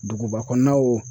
Duguba kɔnɔna wo.